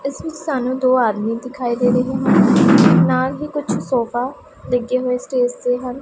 ਸਾਹਨੂੰ ਦੋ ਆਦਮੀ ਦਿਖਾਈ ਦੇ ਰਹੇ ਹੈ ਨਾਲ ਹੀ ਕੁਛ ਸੋਫਾ ਲੱਗੇ ਹੋਏ ਸਟੇਜ ਤੇ ਹਨ।